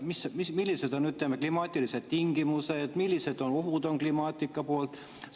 Millised on klimaatilised tingimused, millised ohud on kliima poolt?